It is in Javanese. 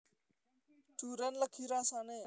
Durén legi rasane